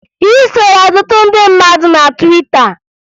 Ị soro ọtụtụ ndị mmadụ na Twita